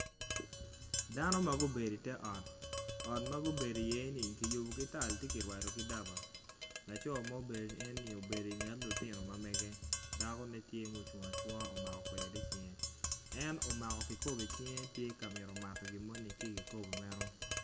Dano ma gubedo i te ot, ot ma gudo iye-ni ki rupo ki tal ci kirwado kome ki daba laco ma obedoni obedo i nget lutino mamege dakone tye ma ocung acunga omko kweri i cinge.